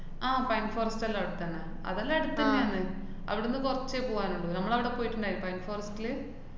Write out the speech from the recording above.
ആഹ് pine forest റ്റെല്ലാം അവടെത്തന്നെ. അതെല്ലാം അട്ത്തന്നെയാണ്. അവടന്ന് കുറച്ചേ പോവാനുള്ളു. നമ്മളവടെ പോയിട്ട്ണ്ടാരുന്നു. pine forest ല്